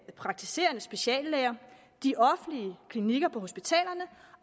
praktiserende speciallæger de offentlige klinikker på hospitalerne